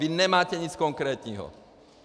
Vy nemáte nic konkrétního!